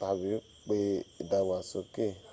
tabi pe idagbasoke won yato